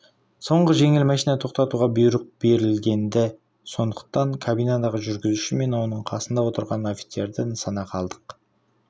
соңғы жеңіл машинаны тоқтатуға бұйрық берілген-ді сондықтан кабинадағы жүргізуші мен оның қасында отырған офицерді нысанаға алдық